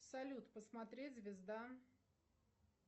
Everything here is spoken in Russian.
салют посмотреть звезда